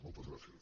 moltes gràcies